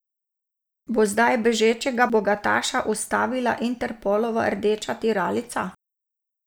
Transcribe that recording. Bo zdaj bežečega bogataša ustavila Interpolova rdeča tiralica?